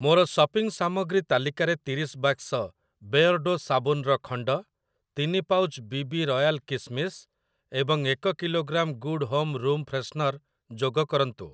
ମୋର ସପିଂ ସାମଗ୍ରୀ ତାଲିକାରେ ତିରିଶ ବାକ୍ସ ବେୟର୍ଡ଼ୋ ସାବୁନର ଖଣ୍ଡ, ତିନି ପାଉଚ୍ ବି ବି ରୟାଲ କିସ୍‌ମିସ୍ ଏବଂ ଏକ kilogram good home room freshener ଯୋଗ କରନ୍ତୁ।